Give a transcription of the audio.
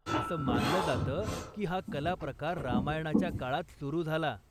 असं मानलं जातं की हा कलाप्रकार रामायणाच्या काळात सुरु झाला.